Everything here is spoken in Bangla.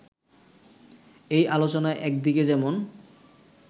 এই আলোচনায় একদিকে যেমন